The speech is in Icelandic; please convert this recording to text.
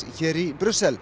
hér í Brussel